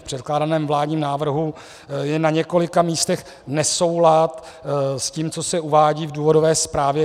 V předkládaném vládním návrhu je na několika místech nesoulad s tím, co se uvádí v důvodové zprávě.